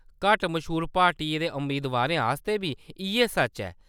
घट्ट मश्हूर पार्टियें दे अमेदबारें आस्तै बी इʼयै सच्च ऐ।